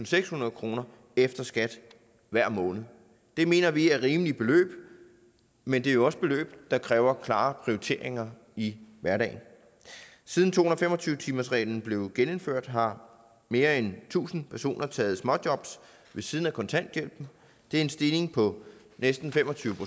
sekshundrede kroner efter skat hver måned det mener vi er rimelige beløb men det er jo også beløb der kræver klare prioriteringer i hverdagen siden to hundrede og fem og tyve timersreglen blev genindført har mere end tusind personer taget småjob ved siden af kontanthjælpen det er en stigning på næsten fem og tyve